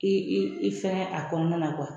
I i fɛn a kɔnɔna na